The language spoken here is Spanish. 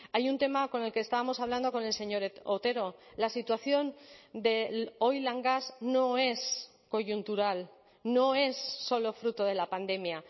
hay un tema con el que estábamos hablando con el señor otero la situación del oil gas no es coyuntural no es solo fruto de la pandemia